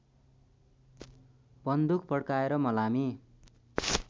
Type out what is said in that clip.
बन्दुक पड्काएर मलामी